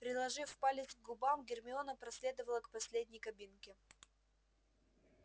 приложив палец к губам гермиона проследовала к последней кабинке